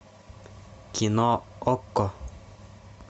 кино окко